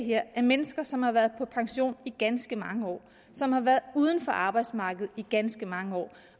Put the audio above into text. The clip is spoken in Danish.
her er mennesker som har været på pension i ganske mange år som har været uden for arbejdsmarkedet i ganske mange år